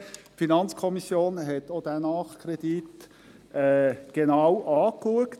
Die FiKo hat auch diesen Nachkredit genau angeschaut.